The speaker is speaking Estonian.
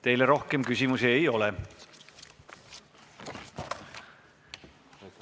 Teile rohkem küsimusi ei ole.